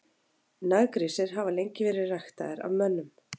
Naggrísir hafa lengi verið ræktaðir af mönnum.